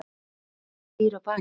Hvað býr að baki?